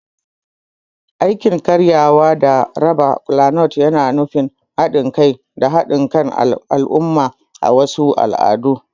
Aikin karyawa da raba kolanut yana nuna haɗin kai da haɗin kan al'umma a wasu al'adu.